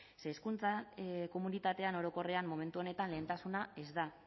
ze hezkuntza komunitatean orokorrean momentu honetan lehentasuna ez da